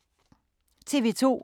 TV 2